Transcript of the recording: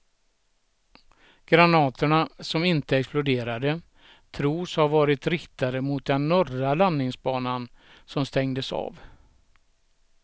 Granaterna, som inte exploderade, tros ha varit riktade mot den norra landningsbanan som stängdes av.